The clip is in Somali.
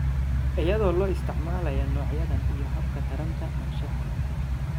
iyadoo la isticmaalayo noocyadan iyo hababka taranta anshaxa.